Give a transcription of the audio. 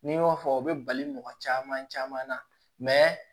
N'i y'o fɔ o be bali mɔgɔ caman caman na